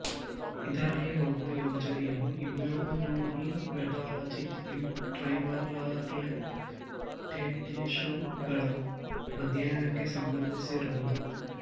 ಇದರಲ್ಲಿ ಒಂದು ಯೋಜನೆಯೂಇಮ್ಯುನೊಹಿಮೆಟಾಲಜಿ ಇನ್ ಟ್ರೈಬರ್ ರ್ಲೇಟೆಡ್ಶಿಶುಗಳ ಅಧ್ಯಯನಕ್ಕೆ ಸಂಬಂಧಿಸಿರುವುದು